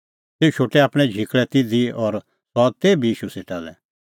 तेऊ शोटै आपणैं झिकल़ै तिधी और सह आअ तेभी ईशू सेटा लै